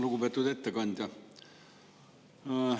Lugupeetud ettekandja!